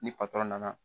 Ni patɔrɔn nana